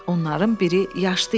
Onların biri yaşlı idi.